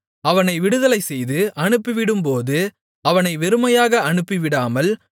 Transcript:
அவனை விடுதலைசெய்து அனுப்பிவிடும்போது அவனை வெறுமையாக அனுப்பிவிடாமல்